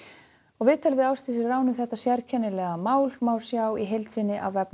viðtalið við Ásdísi Rán um þetta sérkennilega mál má sjá í heild sinni á